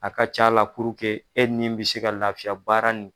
A ka ca la e ni bɛ se ka lafiya baara nin.